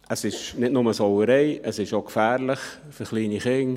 Es ist nicht nur eine Sauerei, es ist auch gefährlich für kleine Kinder.